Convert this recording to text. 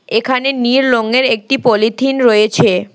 এখানে নীল রংয়ের একটি পলিথিন রয়েছে।